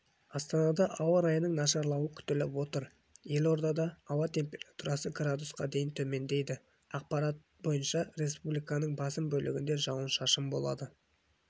астанада ауа райының нашарлауы күтіліп отыр елордада ауа температурасы градусқа дейін төмендейді ақпараты бойынша республиканың басым бөлігінде жауын-шашын болады